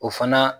O fana